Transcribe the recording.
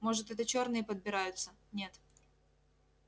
может это чёрные подбираются нет